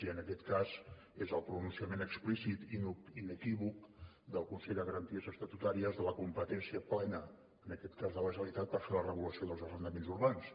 i en aquest cas és el pronunciament explícit i inequívoc del consell de garanties estatutàries de la competència plena de la generalitat per fer la regulació dels arrendaments urbans